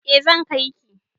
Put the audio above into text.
E, zan kai ki